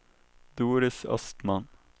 Doris Östman